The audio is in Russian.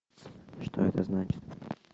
что это значит